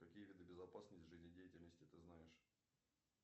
какие виды безопасности жизнедеятельности ты знаешь